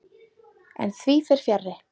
En því fer fjarri.